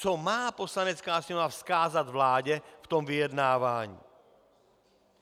Co má Poslanecká sněmovna vzkázat vládě v tom vyjednávání?